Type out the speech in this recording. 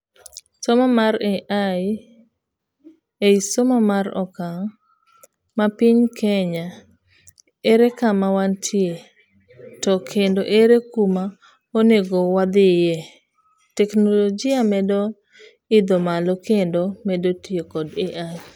somo mar AI ei somo mar okang; mapinye Kenya; ere kama wantie to kendo ere kuma onego wadhiye' teknologia medo midho malo kendo medo tiyo kod AI.